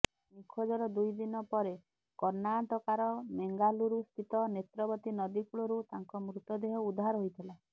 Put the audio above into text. ନିଖୋଜର ଦୁଇ ଦିନ ପରେ କର୍ଣ୍ଣାଟକାର ମେଙ୍ଗାଲୁରୁ ସ୍ଥିତ ନେତ୍ରବତୀ ନଦୀ କୂଳରୁ ତାଙ୍କ ମୃତଦେହ ଉଦ୍ଧାର ହୋଇଥିଲା